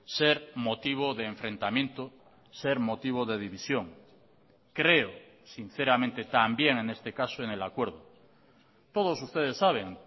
ser motivo de enfrentamiento ser motivo de división creo sinceramente también en este caso en el acuerdo todos ustedes saben